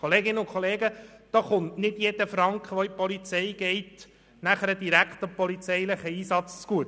Kolleginnen und Kollegen, nicht jeder Franken, der an die Polizei fliesst, kommt direkt dem polizeilichen Einsatz zugute.